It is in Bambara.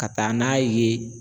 Ka taa n'a ye